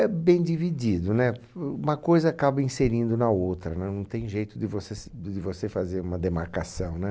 É bem dividido, né? Pf, uma coisa acaba inserindo na outra, né? Não tem jeito de você se de você fazer uma demarcação, né?